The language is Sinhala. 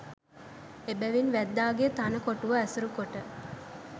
එබැවින් වැද්දාගේ තණ කොටුව ඇසුරු කොට